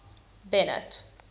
bennet